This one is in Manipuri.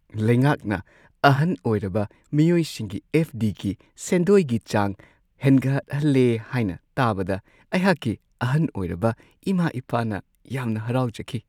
ꯂꯩꯉꯥꯛꯅ ꯑꯍꯟ ꯑꯣꯏꯔꯕ ꯃꯤꯑꯣꯏꯁꯤꯡꯒꯤ ꯑꯦꯐ. ꯗꯤ. ꯒꯤ ꯁꯦꯟꯗꯣꯏꯒꯤ ꯆꯥꯡ ꯍꯦꯟꯒꯠꯍꯜꯂꯦ ꯍꯥꯏꯅ ꯇꯥꯕꯗ ꯑꯩꯍꯥꯛꯀꯤ ꯑꯍꯟ ꯑꯣꯏꯔꯕ ꯏꯃꯥ-ꯏꯄꯥꯅ ꯌꯥꯝꯅ ꯍꯔꯥꯎꯖꯈꯤ ꯫